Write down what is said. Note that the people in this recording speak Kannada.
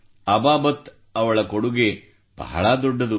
ತೆಗೆದುಹಾಕಬೇಕೆಂದುಕೊಂಡೆವು ಅಬಾಬತ್ ಳ ಕೊಡುಗೆ ಬಹಳ ದೊಡ್ಡದು